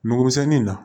Nugumisɛnnin na